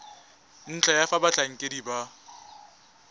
ntlha ya fa batlhankedi ba